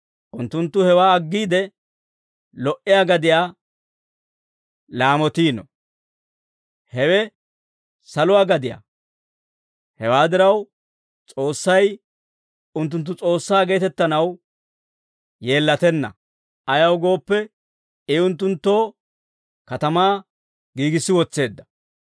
unttunttu hewaa aggiide, lo"iyaa gadiyaa laamotiino; hewe saluwaa gadiyaa. Hewaa diraw, S'oossay unttunttu S'oossaa geetettanaw yeellatenna. Ayaw gooppe, I unttunttoo katamaa giigissi wotseedda.